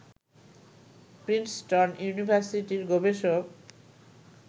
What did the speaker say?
Princeton ইউনিভার্সিটির গবেষক